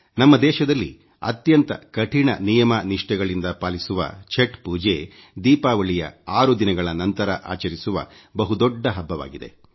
ನಮ್ಮ ದೇಶದಲ್ಲಿ ಅತ್ಯಂತ ಕಠಿಣ ನಿಯಮ ನಿಷ್ಟೆಗಳಿಂದ ಪಾಲಿಸುವ ಛಟ್ ಪೂಜೆ ದೀಪಾವಳಿ 6 ದಿನಗಳ ನಂತರ ಆಚರಿಸುವ ಬಹು ದೊಡ್ಡ ಹಬ್ಬವಾಗಿದೆ